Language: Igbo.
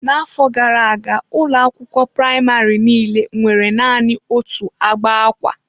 N'afọ gara aga, ụlọ akwụkwọ praịmarị niile nwere naanị otu agba akwa.